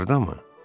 Hardamı?